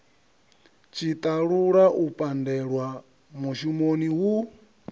tshiṱalula u pandelwa mushumoni hu